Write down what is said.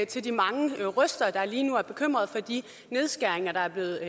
til de mange røster der lige nu er bekymret for de nedskæringer der er blevet